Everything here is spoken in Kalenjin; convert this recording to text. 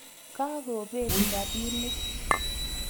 Kakobet rapinik